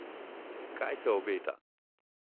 Kaj se obeta?